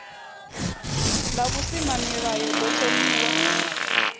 ḽa v husimamilayo ḓo thomiwaho